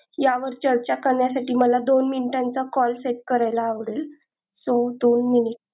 यावर चर्चा करण्यासाठी मला दोन मिनिटांचा call set करायला आवडेल so दोन मिनिट